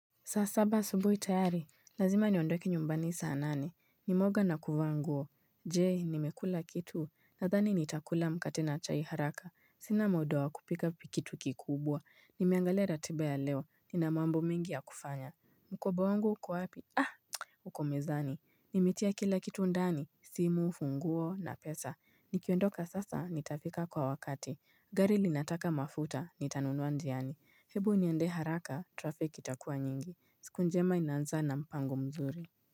Saa saba asubuhi tayari, lazima niondoke nyumbani saa nane, nimeoga na kuvaa nguo, je nimekula kitu, nadhani nitakula mkate na chai haraka, sina muda wa kupika kitu kikubwa, nimeangalia ratiba ya leo, nina mambo mengi yakufanya, mkoba wangu uko wapi uko mezani, nimetia kila kitu ndani, simu, funguo na pesa, nikiondoka sasa, nitafika kwa wakati, gari linataka mafuta, nitanunua njiani, hebu niende haraka, traffic itakua nyingi. Siku njema inaanza na mpango mzuri.